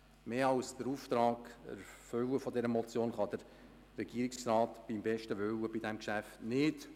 Mehr als den Auftrag der Motion zu erfüllen kann der Regierungsrat beim besten Willen bei diesem Geschäft nicht.